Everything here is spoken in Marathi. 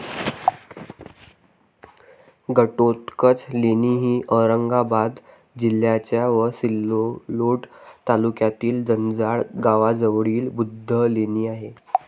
घटोत्कच लेणी ही औरंगाबाद जिल्ह्याच्या व सिल्लोड तालुक्यातील जंजाळा गावाजवळील बुद्ध लेणी आहे.